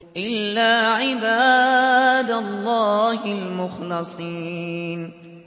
إِلَّا عِبَادَ اللَّهِ الْمُخْلَصِينَ